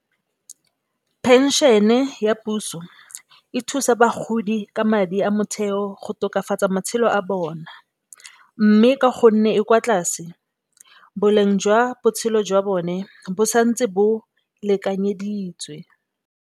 Phenšene ya puso e thusa bagodi ka madi a motheo go tokafatsa matshelo a bona. Mme, ka gonne e kwa tlase boleng jwa botshelo jwa bone bo santse bo lekanyeditswe.